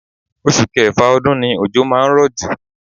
Oṣù Kẹfà ọdún ni ojo máa ń rọ̀ jù.